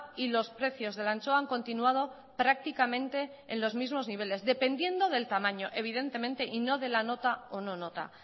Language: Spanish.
y los precios de la anchoa han continuado prácticamente en los mismo niveles dependiendo del tamaño evidentemente y no de la nota o no nota